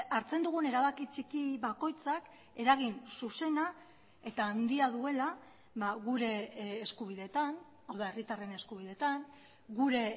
hartzen dugun erabaki txiki bakoitzak eragin zuzena eta handia duela gure eskubideetan hau da herritarren eskubideetan gure